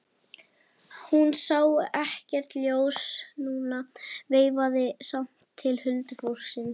Hún sá ekkert ljós núna en veifaði samt til huldufólksins.